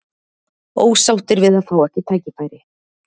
Ósáttir við að fá ekki tækifæri